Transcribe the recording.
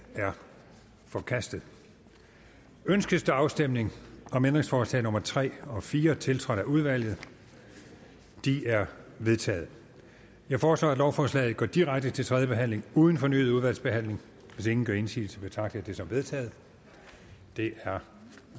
er forkastet ønskes der afstemning om ændringsforslag nummer tre og fire tiltrådt af udvalget de er vedtaget jeg foreslår at lovforslaget går direkte til tredje behandling uden fornyet udvalgsbehandling hvis ingen gør indsigelse betragter jeg det som vedtaget det er